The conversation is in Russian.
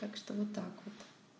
так что вот так вот